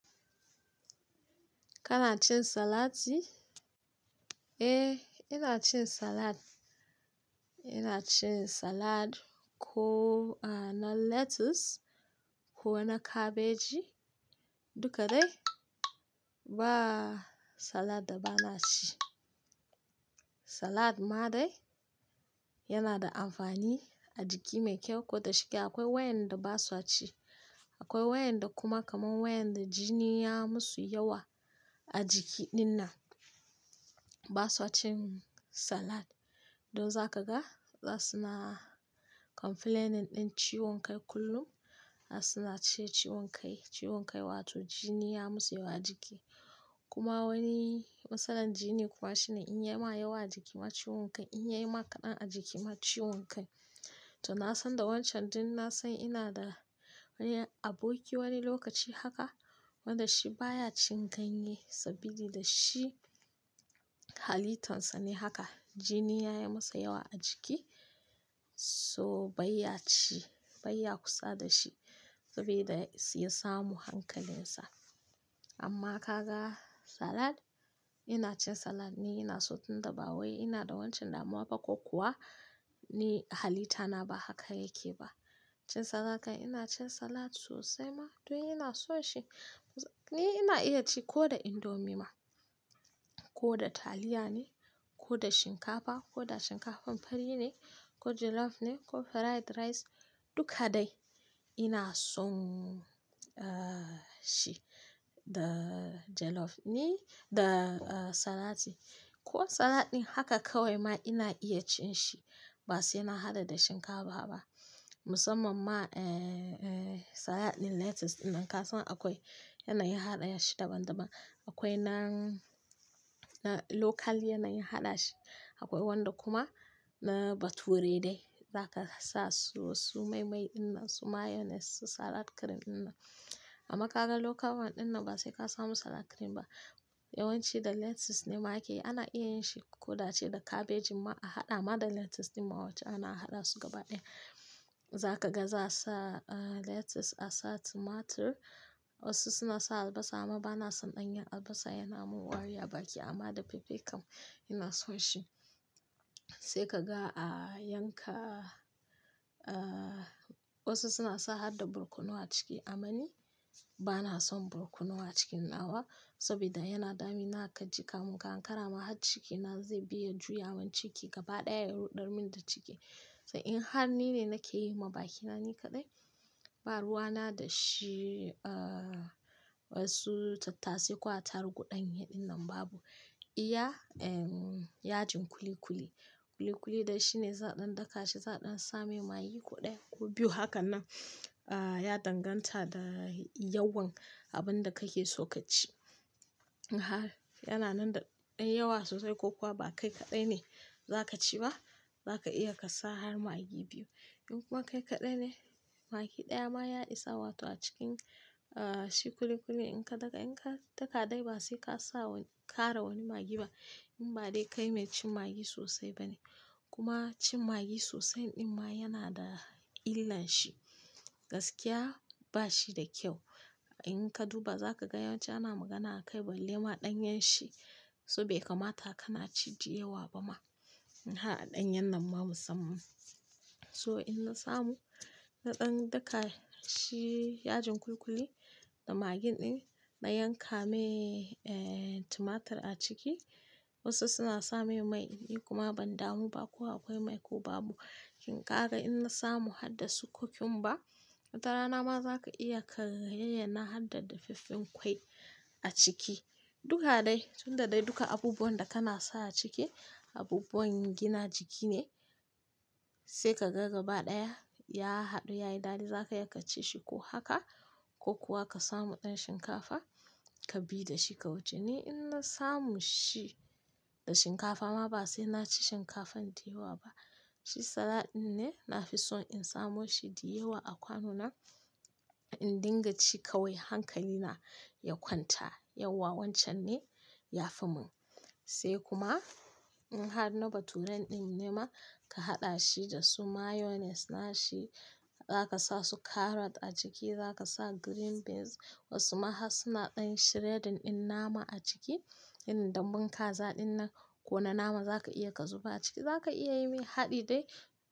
Kana cin salati? Eh, ina cin salad. Ina cin salad ko ana lettuce ko ana cabbage duka dai ba salad da ba na ci. Salad ma dai yana da amfani a jiki mai kyau, ko da shike akwai wayanda ba su ci. Akwai wayanda kuma kaman wayanda jini ya musu yawa a jiki din nan ba su cin salad. Don za ka ga za su na complaining din ciwon kai kullum. Za su na ci ciwon kai, ciwon kai wato jini ya musu yawa jiki. Kuma wani matsalar jini kuwa shine in ya ma yawa jiki ma ciwon kai, in ya yi maƙaɗa a jiki ma ciwon kai. To na san da wancan din na san ina da wani aboki wani lokaci haka wanda shi baya cin ganye saboda da shi halitarsa ne haka. Jini ya yi masa yawa a jiki so bai ya ci, bai ya kusa da shi saboda ya siyo samu hankalinsa. Amma ka ga salad ina cin salad ni ina so tun da ba wa ina da wancan damuwa ba ko kuwa ni halitana ba haka yake ba. Cin salaka ina cin salad sosai ma don ina so shi. Ni ina iya ci ko da indomie ma ko da taliya ne ko da shinkafa ko da shinkafan fari ne ko jollof ne ko fried rice duka dai ina son, ahh shi da jollof ni da ah salati. Ko salad din haka kawai ma ina iya cin shi ba sai ina haɗa da shinkafa ba. Musamman ma eh, eh salad din lettuce din nan ka san akwai yanayin haɗaya shi daban-daban. Akwai nan local yanayin haɗa shi, akwai wanda kuma na bature dai. Za ka sa su, su mai-mai din nan, su mayonnaise, su salad cream din nan. Amma ka ga local one din nan ba sai ka samu salad cream ba. Yawanci da lettuce ne ma ake. Ana iya yin shi ko da ce da cabbage ma a haɗa ma da lettuce din ma wacce ana haɗa su gaba ɗaya. Za ka ga za a sa lettuce, a sa tomato wasu suna sa albasa amma ba na son ɗanyen albasa yana mun wari a baki amma da fefe kam ina so shi. Sai ka ga a yanka ah wasu suna sa haɗa barkono a ciki. Ammani ba na son barkono a cikin nawa saboda yana dami na ka jika mun ka hankara ma har cikin na zai biya juyawan ciki gaba ɗaya ruɗar min da ciki. To in har ni ne nake yi ma bakina ni kaɗai ba ruwa na da shi ah wasu tattasai kuwa tar guɗanye din nan babu. Iya em yajin kuli-kuli. Kuli-kuli da shi ne zaɗan daka shi zaɗan same magi guɗaya ko biyu haka nan ah ya danganta da yawan abun da kake so ka ci. In har yana nan da ɗan yawa sosai ko kuwa ba kai kaɗai ne za ka ci ba za ka iya ka sa har magi biyu. In kuma kai kaɗai ne magi ɗaya ma ya isa wato a cikin ah shi kuli-kuli in ka daka in ka daka dai ba sai ka sa wani, kara wani magi ba in ba dai kai mai cin magi sosai ba ne. Kuma cin magi sosai din ma yana da illan shi. Gaskiya ba shi da kyau. In ka duba za ka ga yawanci ana magana a kai balle ma ɗanyen shi saboda bai kamata kana cin di yawa ba ma. In har a ɗanyen nan ma musamman. So in na samu naɗan daka shi yajin kuli-kuli da magi din na yanka mai eh tomato a ciki wasu suna same mai ni kuma ban damu ba ko akwai mai ko babu. Shin ka ga in na samu haɗa sukokumba, tattara nama za ka iya ka yayyana haɗa da fiffin ƙwai a ciki. Duka dai tun da dai duka abubuwan da kana sa a ciki abubuwan gina jiki ne. Sai ka ga gaba ɗaya ya haɗu ya yi daɗi za ka iya ka ci shi ko haka ko kuwa ka samu ɗan shinkafa ka bi da shi ka wuce. Ni in na samu shi da shinkafa ma ba sai na ci shinkafan di yawa ba. Shi salad din ne na fi so in samu shi di yawa a kwanu na in dinga ci kawai hankali na ya kwanta yawa wancan ne ya fi mun. Sai kuma in har na bature din ne ma ka haɗa shi da su mayonnaise na shi za ka sa su carrot a ciki za ka sa green beans wasu ma har suna ɗan shredding din nama a ciki. In dambun kaza din nan ko wane nama za ka iya ka zuba a ciki za ka iya yi min haɗi dai.